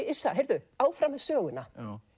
Yrsa heyrðu áfram með söguna